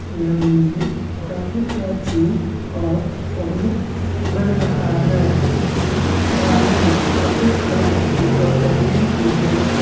यह मंदिर काफी प्राचीन और अद्भुत लग रहा है इसे बना ने में काफी कलाकृति और तकनीक की जरुरत है ।